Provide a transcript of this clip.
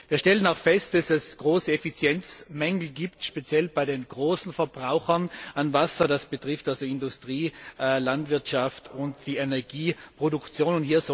Wir stellen fest, dass es große Effizienzmängel gibt, speziell bei den großen Verbrauchern von Wasser, das betrifft Industrie, Landwirtschaft und die Energieproduktion.